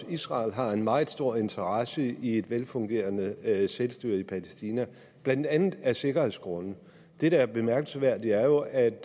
at israel har en meget stor interesse i et velfungerende selvstyre i palæstina blandt andet af sikkerhedsgrunde det der er bemærkelsesværdigt er jo at